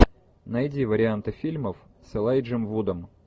найди варианты фильмов с элайджем вудом